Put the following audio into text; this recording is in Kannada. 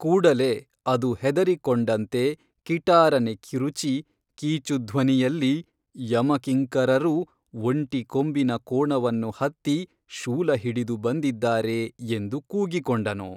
ಕೂಡಲೇ ಅದು ಹೆದರಿಕೊಂಡಂತೆ ಕಿಟಾರನೆ ಕಿರುಚಿ ಕೀಚುಧ್ವನಿಯಲ್ಲಿ ಯಮ ಕಿಂಕರರು, ಒಂಟಿ ಕೊಂಬಿನ ಕೋಣವನ್ನು ಹತ್ತಿ ಶೂಲಹಿಡಿದು ಬಂದಿದ್ದಾರೆ ಎಂದು ಕೂಗಿಕೊಂಡನು